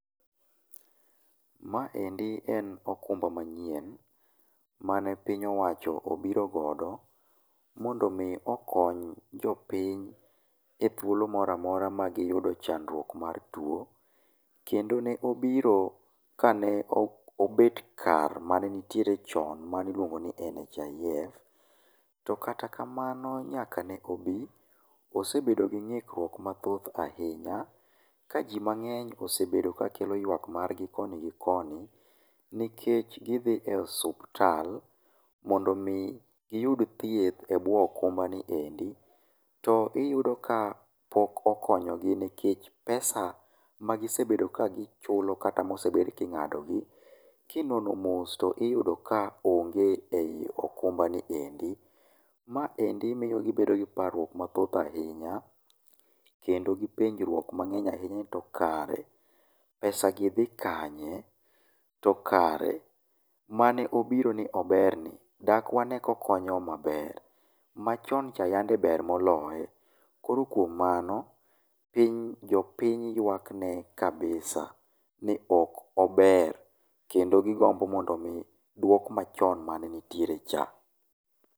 ma endi en okumba manyien mane piny owacho obiro godo mondo mi okony jopiny e thuolo moro amora magi yudo chandruok mar tuo, kendo ne obiro kane obet kar mane nitiere chon mani luongo ni NHIF to kata kamano nyaka ne obi osebedo gi ng'ikruok mathoth ahinya ka ji mang'eny osebedo kakelo yuagruok mar gi koni gi koni nikech gi ghi e hosuptal mondo mi gi yud thieth e buo okumba ni endi to iyudo ka pok okonyo gi nikech pesa magi sebedo ka gichulo kata mosebed king'ado gi kinono mos to iyudo ka onge ei okumbani endi, ma endi miyo ibedo gi parruok mathoth ahinya kendo gi penjruok mangeny ahinya ni to kare pesa gi dhi kanye, to kare mane obiro ni oberni dak wane kokonyo wa maber, machon cha yande ber moloye koro kuom mano jopiny yuak ne kabisa ni ok ober kendo gi gombo mondo mi duok machon mane nitiere cha.